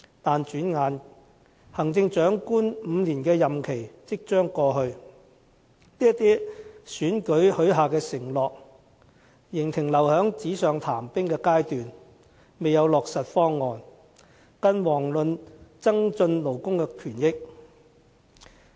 但轉眼間，行政長官5年任期即將過去，這些在選舉中許下的承諾，仍留在紙上談兵的階段，未有落實方案，更遑論增進勞工權益。